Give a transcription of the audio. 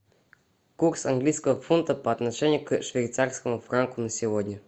курс английского фунта по отношению к швейцарскому франку на сегодня